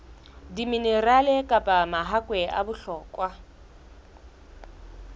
diminerale kapa mahakwe a bohlokwa